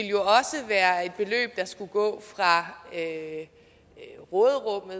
jo også være et beløb der skulle gå fra råderummet